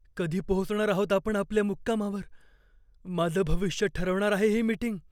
कधी पोचणार आहोत आपण आपल्या मुक्कामावर? माझं भविष्य ठरवणार आहे ही मीटिंग.